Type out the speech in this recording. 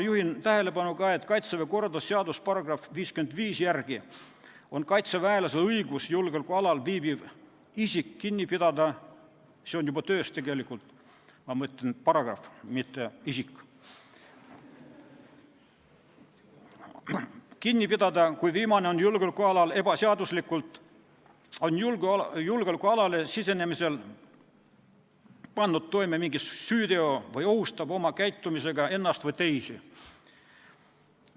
Juhin ka tähelepanu, et Kaitseväe korralduse seaduse § 55 järgi on kaitseväelasel õigus julgeolekualal viibiv isik kinni pidada – see on juba töös, ma mõtlen paragrahv, mitte isik –, kui viimane on julgeolekualal ebaseaduslikult, on julgeolekualale sisenemisel pannud toime mingi süüteo või ohustab oma käitumisega ennast või teisi.